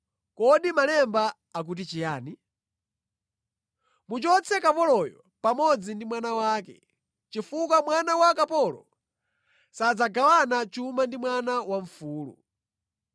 Kodi Malemba akuti chiyani? “Muchotse kapoloyo pamodzi ndi mwana wake, chifukwa mwana wa kapolo sadzagawana chuma ndi mwana wamfulu.”